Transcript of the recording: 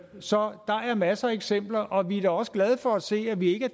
så der er masser af eksempler og vi da er også glade for at se at vi ikke